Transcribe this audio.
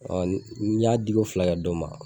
Ɔ n y'a diko fila kɛ dɔ ma